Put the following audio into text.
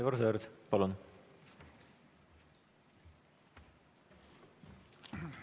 Aivar Sõerd, palun!